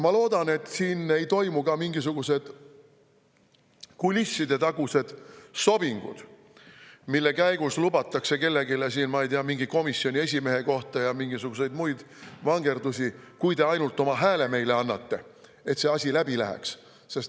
Ma loodan, et siin ei toimu ka mingisuguseid kulissidetaguseid sobinguid, mille käigus lubatakse kellelegi, ma ei tea, mingi komisjoni esimehe kohta või mingisuguseid muid vangerdusi, kui ta ainult oma hääle selleks annab, et see asi läbi läheks.